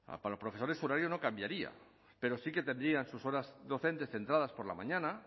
para los profesores su horario no cambiaría pero sí que tendrían sus horas docente centradas por la mañana